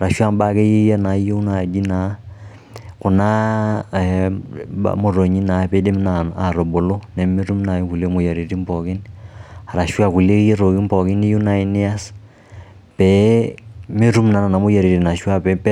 arashu aa mbaa nayieu nai naa kuna motonyi naa piidim atubulu nemetum nai kulie moyiaritin arashu aa kulie tokiting niyieu nai nias pee metum nena moyiaritin